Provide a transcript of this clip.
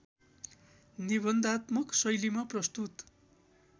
निबन्धात्मक शैलीमा प्रस्तुत